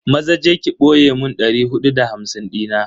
Maza je ki boye mun dari hudu da hamsin dina.